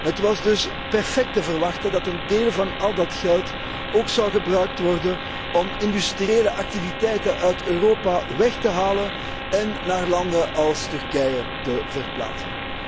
Het was dus perfect te verwachten dat een deel van al dat geld ook gebruikt zou worden om industriële activiteiten uit Europa weg te halen en naar landen als Turkije te verplaatsen.